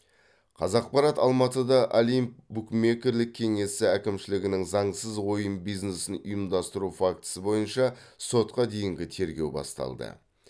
қазақпарат алматыда олимп букмекерлік кеңесі әкімшілігінің заңсыз ойын бизнесін ұйымдастыру фактісі бойынша сотқа дейінгі тергеу басталды